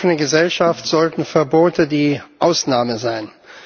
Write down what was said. In einer offenen Gesellschaft sollten Verbote die Ausnahme sein.